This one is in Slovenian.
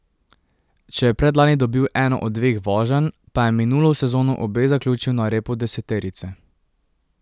Če je predlani dobil eno od dveh voženj, pa je minulo sezono obe zaključil na repu deseterice.